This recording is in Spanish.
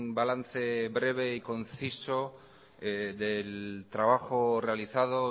balance breve y conciso del trabajo realizado